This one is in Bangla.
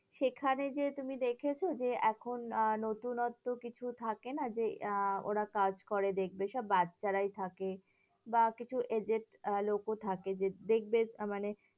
সেখানে গিয়ে তুমি দেখেছো যে, এখন আহ নতুনত্ব কিছু থাকে না যে, আহ ওরা কাজ করে দেখবে ওইসব বাচ্চারাই থাকে, বা কিছু agent লোকও থাকে যে দেখবে এটা মানে